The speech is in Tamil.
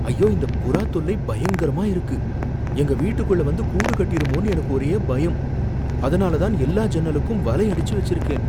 ஐயோ, இந்த புறா தொல்லை பயங்கரமா இருக்கு! எங்க வீட்டுக்குள்ள வந்து கூடு கட்டிருமோன்னு எனக்கு ஒரே பயம், அதுனால தான் எல்லா ஜன்னலுக்கும் வலை அடிச்சு வச்சிருக்கேன்.